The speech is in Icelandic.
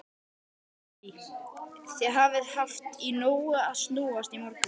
Lillý: Þið hafið haft í nógu að snúast í morgun?